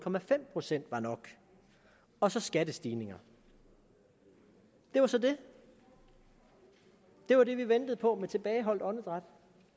procent var nok og så skattestigninger det var så det det var det vi ventede på med tilbageholdt åndedræt